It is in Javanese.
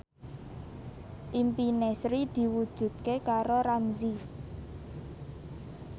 impine Sri diwujudke karo Ramzy